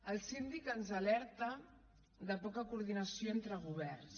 el síndic ens alerta de poca coordinació entre governs